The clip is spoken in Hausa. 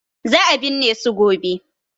Za a binne su gobe.